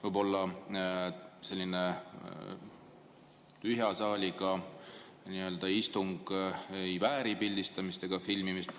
Võib-olla tõesti selline tühja saaliga istung ei vääri pildistamist ja filmimist.